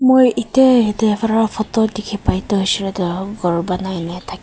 moi etie ete fara photo dikhi pai tu huishe koi le tu ghor banai na thaki--